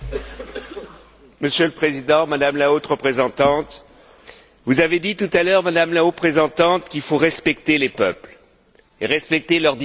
Monsieur le Président, Madame la Haute représentante, vous avez dit tout à l'heure, Madame la Haute représentante, qu'il faut respecter les peuples et respecter leur désir de liberté.